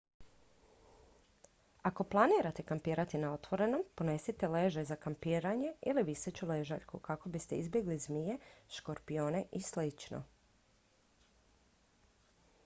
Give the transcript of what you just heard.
ako planirate kampirati na otvorenom ponesite ležaj za kampiranje ili viseću ležaljku kako biste izbjegli zmije škorpione i slično